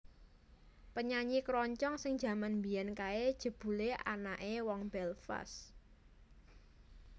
Penyanyi keroncong sing jaman mbiyen kae jebule anake wong Belfast